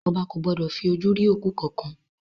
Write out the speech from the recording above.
Ọba ko gbọdọ̀ fi ojú rí òkú kankan.